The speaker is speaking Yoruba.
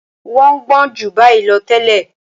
Wọ́n gbọ́n ju báyìí lọ tẹ́lẹ̀.